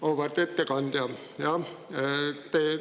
Auväärt ettekandja!